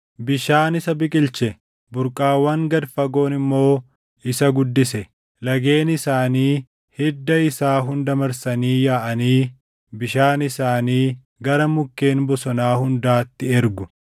Bishaan isa biqilche; burqaawwan gad fagoon immoo isa guddise; lageen isaanii hidda isaa hunda marsanii yaaʼanii bishaan isaanii gara mukkeen bosonaa hundaatti ergu.